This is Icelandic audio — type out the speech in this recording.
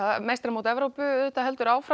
meistaramót Evrópu heldur áfram